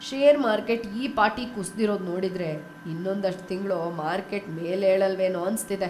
Share market ‌ಈ ಪಾಟಿ ಕುಸ್ದಿರೋದ್ ನೋಡಿದ್ರೆ, ಇನ್ನೊಂದಷ್ಟ್‌ ತಿಂಗ್ಳು ಮಾರ್ಕೆಟ್‌ ಮೇಲೇಳಲ್ವೇನೋ ಅನ್ಸ್ತಿದೆ.